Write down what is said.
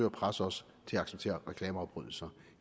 at presse os til at acceptere reklameafbrydelser